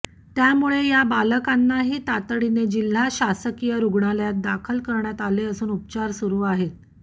त्यामुळे या बालकांनाही तातडीने जिल्हा शासकीय रुग्णालयात दाखल करण्यात आले असून उपचार सुरू आहेत